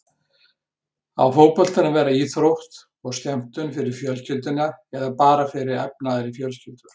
Á fótboltinn að vera íþrótt og skemmtun fyrir fjölskylduna eða bara fyrir efnaðri fjölskyldur?